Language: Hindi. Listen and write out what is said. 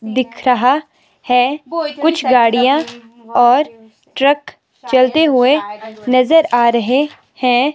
दिख रहा है कुछ गाड़ियां और ट्रक चलते हुए नजर आ रहे हैं।